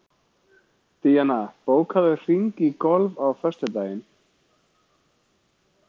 Díanna, bókaðu hring í golf á föstudaginn.